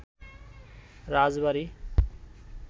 রাজবাড়ী